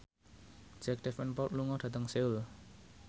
Jack Davenport lunga dhateng Seoul